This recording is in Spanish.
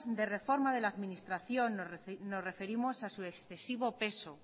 de reforma de la administración nos referimos a su excesivo peso